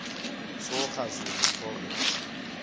soga zulu proverbs